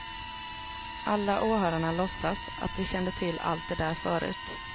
Alla åhörarna låtsas att de kände till allt det där förut.